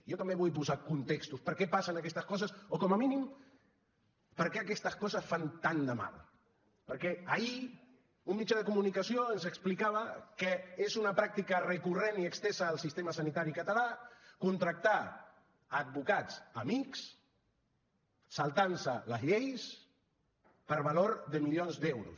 jo també vull posar contextos per què passen aquestes coses o com a mínim per què aquestes coses fan tant de mal perquè ahir un mitjà de comunicació ens explicava que és una pràctica recurrent i estesa en el sistema sanitari català contractar advocats amics saltant se les lleis per valor de milions d’euros